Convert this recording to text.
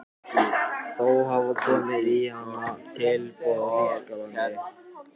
Þó hafa komið í hana tilboð í Þýskalandi.